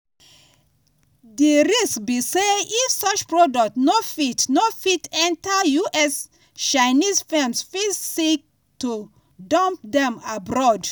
di risk be say if such products no fit no fit enta us chinese firms fit seek to "dump" dem abroad.